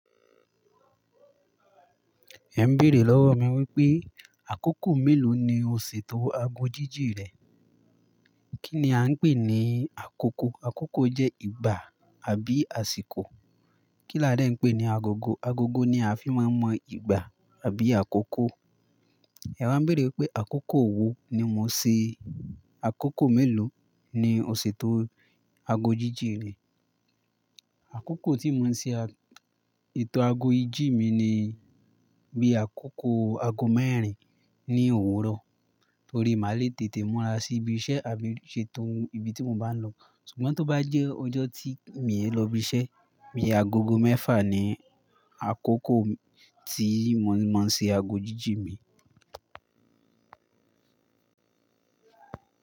Ẹ n béèrè lọ́wọ́ mi wípé àkókò mélòó ni o ṣètò aago jíjì rẹ? Kí ni a ń pè ní àkókò? Àkókò jẹ́ ìgbà àbí àsìkò. Kí la ń dẹ̀ ń pè ní agogo? Agogo ni a fi máa ń mọ ìgbà àbí àkókò. Ẹwa ń béèrè wípé àkókò wo ni mo ṣé. Àkókò mélòó ni o ṣètò aago jíjì rẹ. Àkókò tí mo máa ń ṣe ètò aago ijì mi ni bí àkókò aago mẹ́rin ní òwúrọ̀, torí màá le tètè múra sí ibi iṣẹ́ àbí ṣe tó ibi tí mo bá ń lọ. Ṣùgbọ́n tó bá jẹ́ ọjọ́ tí mi ò i lọ ibi iṣẹ́, bí i agogo mẹ́fà ni àkókò tí mo máa ń ṣe aago jíjì mi.